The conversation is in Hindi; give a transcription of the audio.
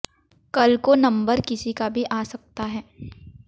कल को नम्बर किसी का भी आ सकता है